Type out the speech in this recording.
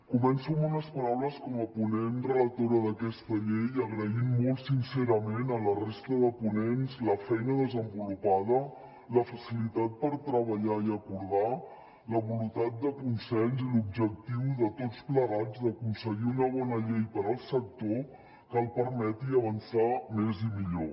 començo amb unes paraules com a ponent relatora d’aquesta llei agraint molt sincerament a la resta de ponents la feina desenvolupada la facilitat per treballar i acordar la voluntat de consens i l’objectiu de tots plegats d’aconseguir una bona llei per al sector que el permeti avançar més i millor